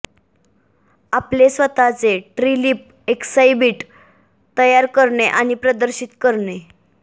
आपले स्वतःचे tree leaf exhibit तयार करणे आणि प्रदर्शित करणे